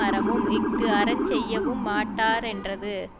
அறமும் இஃது அறஞ் செய்யவும் மாட்டாரென்றது